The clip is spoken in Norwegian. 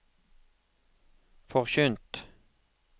forkynt